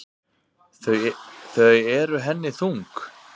Þau eru henni þung.